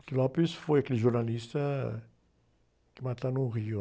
O foi aquele jornalista que mataram o Rio.